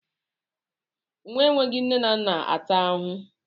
Nwa enweghị nne na-ata ahụhụ.